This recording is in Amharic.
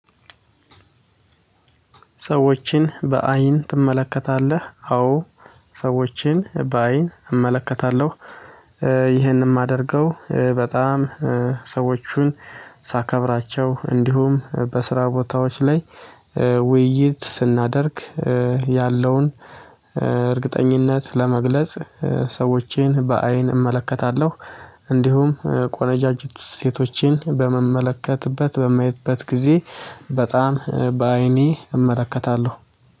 ሰዎችን በአይን ትመለከታለህ? አዎ ሰዎችን በአይን እመለከታለሁ። ይህንን የማደርገው በጣም ሰዎችን ሳከብራቸው እንዲሁም በስራ ቦታዎች ላይ ውይይት ስናደርግ ያለውን እርግጠኝነት ለመግለጽ ሰዎችን በአይን እመለከታለሁ። እንዲሁም ቆንጃጅት ሴቶችን በምመልከትበት በሚያይበት ጊዜ በጣም በአይኔ እመለከታለሁ።